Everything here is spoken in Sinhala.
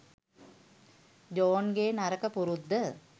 ජෝන්ගේ නරක පුරුද්ද.